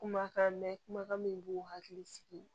Kumakan mɛn kumakan min b'u hakili sigi